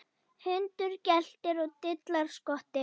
Hundur geltir og dillar skotti.